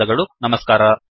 ಧನ್ಯವಾದಗಳು ನಮಸ್ಕಾರ